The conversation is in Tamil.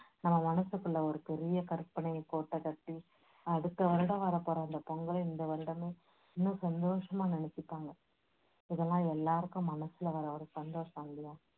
நம்ம மனசுக்குள்ள ஒரு பெரிய கற்பனை கோட்டை கட்டி அடுத்த வருடம் வரப் போற அந்த பொங்கலை இந்த வருடமே ரொம்ப சந்தோஷமா நினைச்சுப்பாங்க. இதெல்லாம் எல்லாருக்கும் மனசுல வர்ற ஒரு சந்தோஷம் இல்லையா